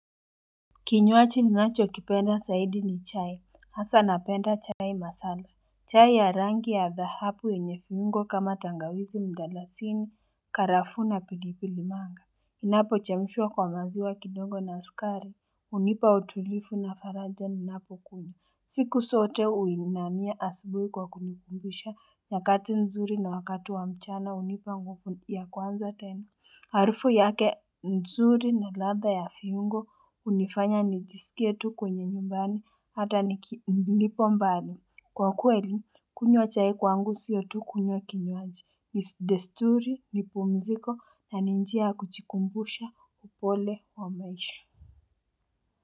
Kinyuaji ninachokipenda zaidi ni chai. Hasa napenda chai masala. Chai ya rangi ya dhahabu yenye viungo kama tangawizi mdalasini karafu na pilipili manga. Inapochemshwa kwa maziwa kidongo na sukari hunipa utulivu na faraja ninapokunywa. Siku zote uinania asubuhi kwa kunikumbusha nyakati nzuri na wakati wa mchana hunipa nguvu ya kwanza tena Harufu yake nzuri na ladha ya viungo hunifanya nijisikia tu kwenye nyumbani hata nipo mbali kwa kuweli kunywa chai kwangu sio tu kunywa kinyuaji ni desturi ni pumziko na njia ya kujikumbusha upole wa maisha.